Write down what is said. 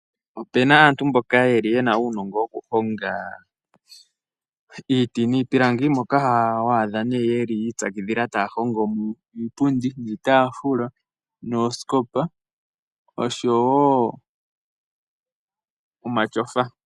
Opu na aantu mboka ye li ye na uunongo wokuhonga iiti niipilangi ,moka ho adha nee ye li yi ipyakidhila taya hongo iipundi, iitaafula, oosikopa osho wo omatyofa.